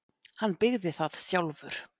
Hann byggði það sjálfur.